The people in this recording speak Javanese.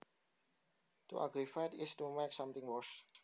To aggravate is to make something worse